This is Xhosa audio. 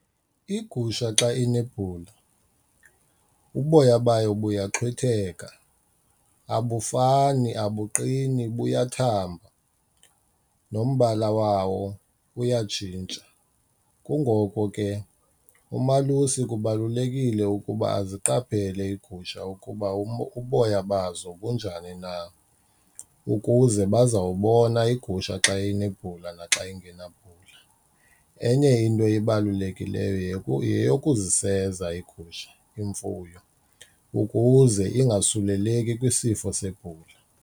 Igusha xa inebhula uboya bayo buyaxhwitheka, abufani, abuqini buyathamba nombala wawo uyatshintsha. Kungoko ke umalusi kubalulekile ukuba aziqaphele iigusha ukuba uboya bazo bunjani na ukuze bazawubona igusha xa inebhula naxa ingenabhula. Enye into ebalulekileyo yeyokuziseza iigusha, imfuyo ukuze ingasuleleki kwisifo sebhula.